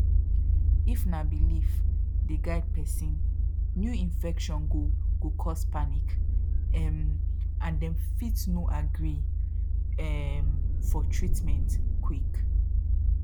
if na belief dey guide person new infection go go cause panic um and dem fit no agree um for treatment quick